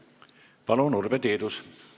Palun, Urve Tiidus!